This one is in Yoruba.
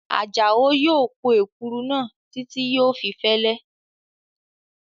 Àjàó yóò po èkuru náà títí yóò fi fẹ́lẹ́